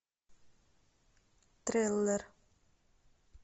триллер